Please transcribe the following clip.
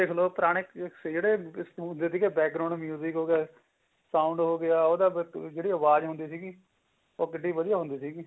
ਪੁਰਾਣੇ ਜਿਹੜੇ ਹੁੰਦੇ ਸੀ ਹੋਗਿਆ sound ਹੋਗਿਆ ਉਹਦੀ ਜਿਹੜੀ ਆਵਾਜ ਹੁੰਦੀ ਸੀਗੀ ਉਹ ਕਿੱਡੀ ਵਧੀਆ ਹੁੰਦੀ ਸੀਗੀ